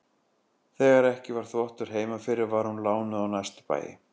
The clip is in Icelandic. Þegar ekki var þvottur heima fyrir var hún lánuð á næstu bæi.